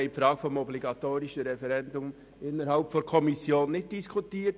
: Wir haben die Frage des obligatorischen Referendums innerhalb der Kommission nicht diskutiert.